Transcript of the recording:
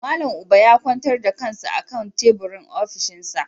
Malam Uba ya kwantar da kansa a kan teburin ofishinsa.